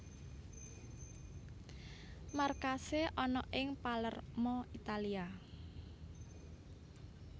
Markasé ana ing Palermo Italia